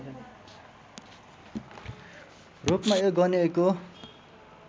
रूपमा यो गनिएको